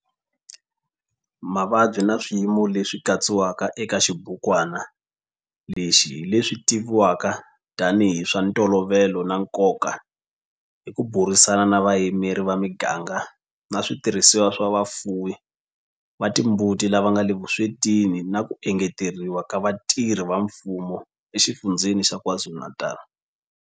Mavabyi na swiyimo leswi katsiwaka eka xibukwana lexi hi leswi tivivwaka tanihi hi swa ntolovelo na nkoka hi ku burisana na vayimeri va miganga na switirhisiwa swa vafuwi va timbuti lava nga le vuswetini na ku engeteriwa ka vatirhi va mfumo eXifundzheni xa KwaZulu-Natal.